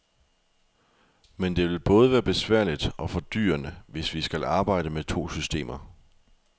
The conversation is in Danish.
Men det vil både være besværligt og fordyrende, hvis vi skal arbejde med to systemer.